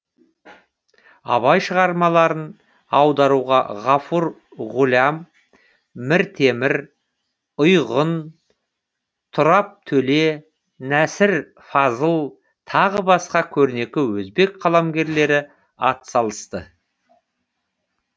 абай шығармаларын аударуға ғафур ғулям міртемір ұйғун тұрап төле нәсір фазыл тағы басқа көрнекі өзбек қаламгерлері атсалысты